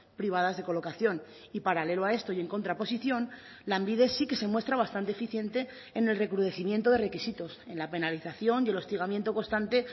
privadas de colocación y paralelo a esto y en contraposición lanbide sí que se muestra bastante eficiente en el recrudecimiento de requisitos en la penalización y el hostigamiento constante